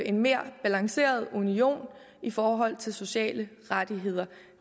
en mere balanceret union i forhold til sociale rettigheder